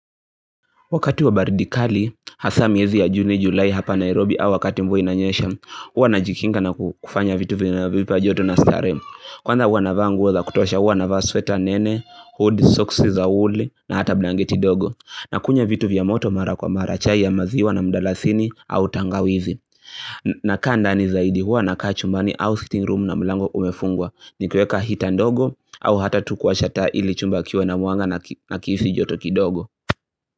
Wakati wa baridi kali, hasa miezi ya Juni, Julai hapa Nairobi au wakati mvua inanyesha, hua najikinga na kufanya vitu vinavyonipa joto na starehe. Kwanza hua navaa nguo za kutosha hua navaa sweta nene, hoodie, socksi za wooli na hata blanketi ndogo. Nakunywa vitu vya moto mara kwa mara chai ya maziwa na mdalasini au tangawizi. Nakaa ndani zaidi hua nakaa chumbani au ''sitting room'' na mlango umefungwa. Nikieka hita ndogo au hata tu kuwasha taa ili chumba kiwe na mwanga nakihisi joto kidogo.